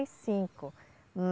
e cinco